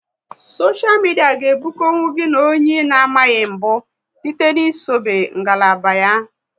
Soshia midia ga ebukonwu gị na onye ị na amaghị mbụ site n'isobe ngalaba ba